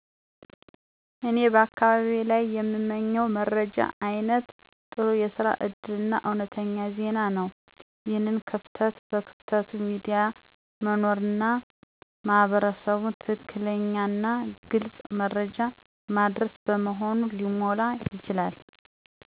እኔ በአካባቢዬ ላይ የምመኝው መረጃ አይነት ጥሩ የስራ እድል እና እውነተኛ ዜና ነው። ይህን ክፍተት በክፍት ሚዲያ መኖርና ማህበረሰቡን ትክክለኛና ግልጽ መረጃ ማድረስ በመሆኑ ሊሞላ ይችላል።